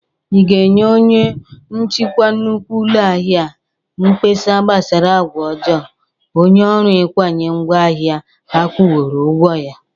Ị ga-enye onye nchikwa nnukwu ụlọ ahịa a mgbesa gbasara agwa ọjọọ onye ọrụ ịkwanye ngwa ahịa agwụworo ọgwọ ya?